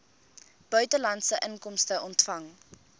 buitelandse inkomste ontvang